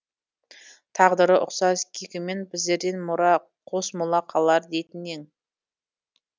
тағдыры ұқсас кейкімен біздерден мұра қос мола қалар дейтін ең